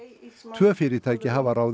tvö fyrirtæki hafa ráðið